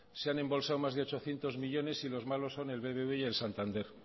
se han embolsado más de ochocientos millónes y los malos son el bbv y el santander